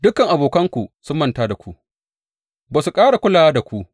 Dukan abokanku sun manta da ku; ba su ƙara kulawa da ku.